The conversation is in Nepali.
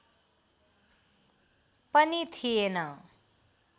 पनि थिएन